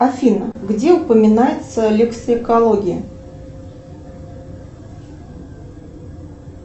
афина где упоминается лексикология